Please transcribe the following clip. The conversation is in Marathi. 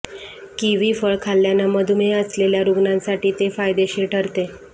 कीवी फळ खाल्ल्यानं मधुमेह असलेल्या रूग्नांसाठी ते फायदेशीर ठरते